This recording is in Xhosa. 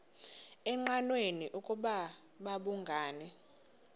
engqanweni ukuba babhungani